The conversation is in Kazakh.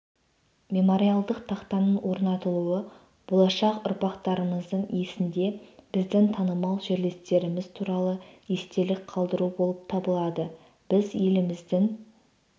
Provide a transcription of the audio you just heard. мемориалдық тақтаның орнатылуы болашақ ұрпақтарымыздың есінде біздің танымал жерлестеріміз туралы естелік қалдыру болып табылады біз еліміздің